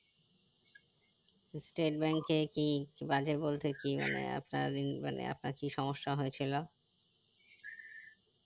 state bank এ কি বাজে বলতে কি মানে আপনার মানে আপনার কি সমস্যা হয়ে ছিল